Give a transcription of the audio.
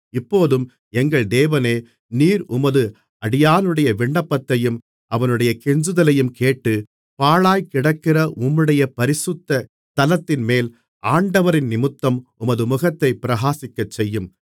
இப்போதும் எங்கள் தேவனே நீர் உமது அடியானுடைய விண்ணப்பத்தையும் அவனுடைய கெஞ்சுதலையும் கேட்டு பாழாய்க் கிடக்கிற உம்முடைய பரிசுத்த ஸ்தலத்தின்மேல் ஆண்டவரினிமித்தம் உமது முகத்தைப் பிரகாசிக்கச்செய்யும்